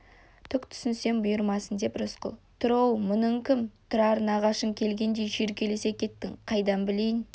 түк түсінсем бұйырмасын деп рысқұл тұр оу мұның кім тұрар нағашың келгендей шүйіркелесе кеттің қайдан білейін